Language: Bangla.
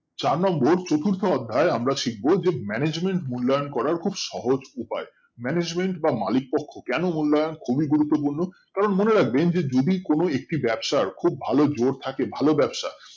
চার নম্বর চতুর্থ অধ্যায় আমরা শিখবো management মুল্লায়ন করার খুব সহজ উপায় management